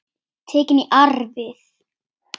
Tekin í arf.